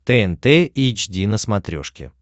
тнт эйч ди на смотрешке